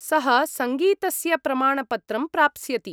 सः सङ्गीतस्य प्रमाणपत्रं प्राप्स्यति।